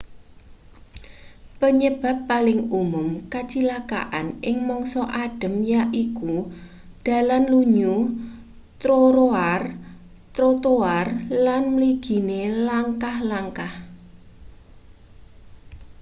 penyebab paling umum kacilakan ing mangsa adhem yaiku dalan lunyu troroar trotoar lan mligine langkah-langkah